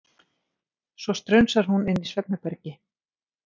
Svo strunsar hún inn í svefnherbergi.